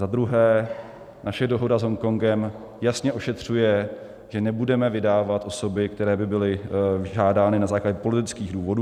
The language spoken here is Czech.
Za druhé, naše dohoda s Hongkongem jasně ošetřuje, že nebudeme vydávat osoby, které by byly vyžádány na základě politických důvodů.